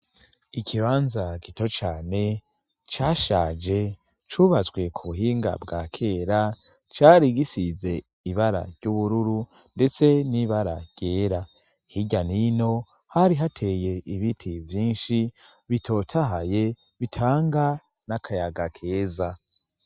Ikibanza gito cane cashaje cubatswe ku buhinga bwa kera cari gisize ibara ry'ubururu ndetse n'ibara ryera . Hirya n'ino hari hateye ibiti vyinshi bitotahaye bitanga n'akayaga keza.